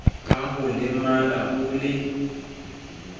ka ho lemala o le